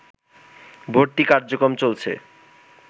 ভর্তি কার্যক্রম চলছে